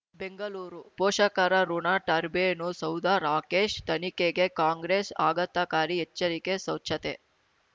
ಬೆಂಗಳೂರು ಪೋಷಕರಋಣ ಟರ್ಬೇನು ಸೌಧ ರಾಕೇಶ್ ತನಿಖೆಗೆ ಕಾಂಗ್ರೆಸ್ ಆಘಾತಕಾರಿ ಎಚ್ಚರಿಕೆ ಸ್ವಚ್ಛತೆ